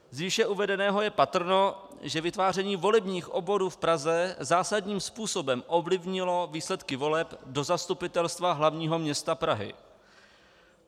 Z výše uvedeného je patrné, že vytváření volebních obvodů v Praze zásadním způsobem ovlivnilo výsledky voleb do Zastupitelstva hlavního města Prahy.